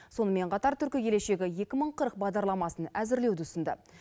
сонымен қатар түркі келешегі екі мың қырық бағдарламасын әзірлеуді ұсынды